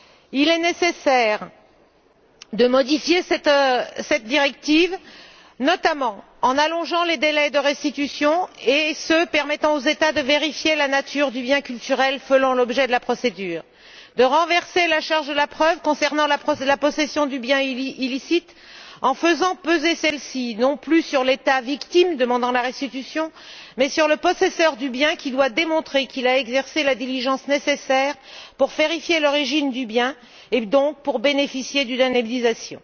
Il est nécessaire de modifier cette directive, notamment en allongeant les délais de restitution et ceux permettant aux États de vérifier la nature du bien culturel faisant l'objet de la procédure et de renverser la charge de la preuve concernant la possession du bien illicite, en faisant peser celle ci non plus sur l'État victime demandant la restitution mais sur le possesseur du bien qui doit démontrer qu'il a exercé la diligence nécessaire pour vérifier l'origine du bien et donc pour bénéficier d'une indemnisation.